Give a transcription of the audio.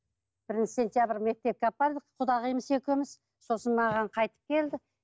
бірінші сентябрь мектепке апардық құдағиымыз екеуміз сосын маған қайтып келді